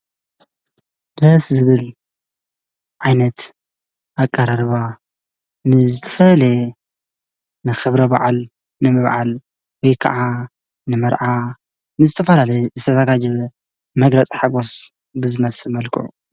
ደስ ዝብል ዓይነት አቀራርባ ንዝተፈለየ ንክብረ በዓል ንምብዓል ወይ ከዓ ን መርዓ ንዝተፈላለዪ ዝተዘጋጀየ መግለፂ ሓጎስ ብዝመስል መልክዑ ።